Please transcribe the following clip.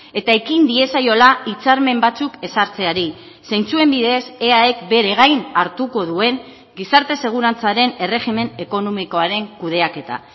eta ekin diezaiola hitzarmen batzuk ezartzeari zeintzuen bidez eaek bere gain hartuko duen gizarte segurantzaren erregimen ekonomikoaren kudeaketa